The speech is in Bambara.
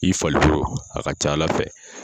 I falikolo a ka ca Ala fɛ.